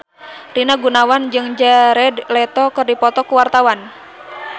Rina Gunawan jeung Jared Leto keur dipoto ku wartawan